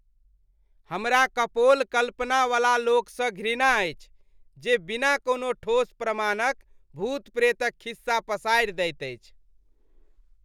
हमरा कपोल कल्पनावला लोकसँ घृणा अछि जे बिना कोनो ठोस प्रमाणक भूत प्रेतक खिस्सा पसारि दैत अछि।